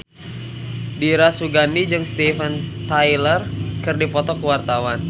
Dira Sugandi jeung Steven Tyler keur dipoto ku wartawan